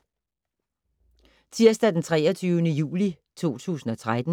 Tirsdag d. 23. juli 2013